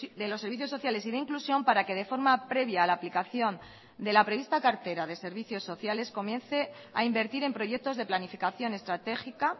de los servicios sociales y de inclusión para que de forma previa a la aplicación de la prevista cartera de servicios sociales comience a invertir en proyectos de planificación estratégica